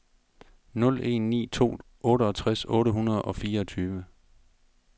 nul en ni to otteogtres otte hundrede og fireogtyve